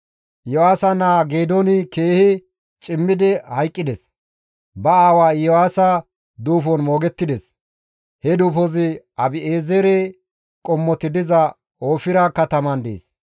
Iyo7aasa naa Geedooni keehi cimmidi hayqqides; ba aawa Iyo7aasa duufon moogettides; he duufozi Abi7eezere qommoti diza Oofira kataman dees.